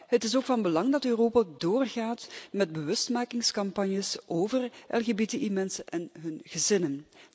Het is ook van belang dat Europa doorgaat met bewustmakingscampagnes over LGBTI-mensen en hun gezinnen.